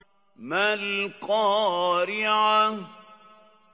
مَا الْقَارِعَةُ